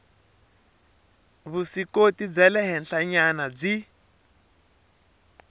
vuswikoti bya le henhlanyana byi